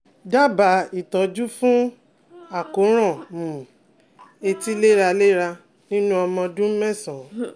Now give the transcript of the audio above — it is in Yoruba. Dábàá ìtọ́jú fún àkóràn um etí léraléra nínú ọmọ ọdún mẹ́sàn-án